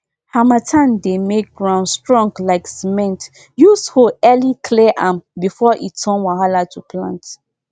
harmattan dey make ground strong like cementuse hoe early clear am before e turn wahala to plant